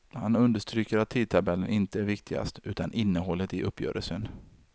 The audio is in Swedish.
Han understryker att tidtabellen inte är viktigast, utan innehållet i uppgörelsen.